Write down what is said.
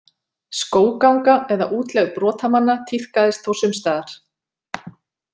Skógganga eða útlegð brotamanna tíðkaðist þó sums staðar.